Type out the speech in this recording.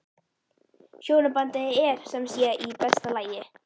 Hjónabandið er sem sé í besta lagi?